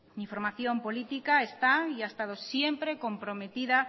mi formación política está y ha estado siempre comprometida